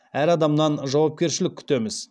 әр адамнан жауапкершілік күтеміз